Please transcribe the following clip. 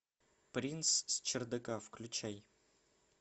принц с чердака включай